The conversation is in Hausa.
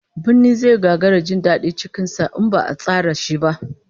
Birni zai gagara jin dadi cikin sa in ba'a tsara shi ba